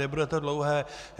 Nebude to dlouhé.